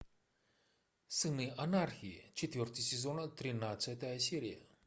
сыны анархии четвертый сезон тринадцатая серия